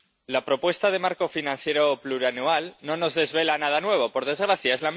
la propuesta de marco financiero plurianual no nos desvela nada nuevo, por desgracia.